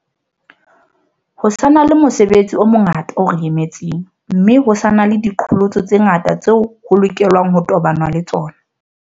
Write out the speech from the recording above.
Ho sa na le mosebetsi o mongata o re emetseng, mme ho sa na le diqholotso tse ngata tseo ho lokelwang ho tobanwa le tsona.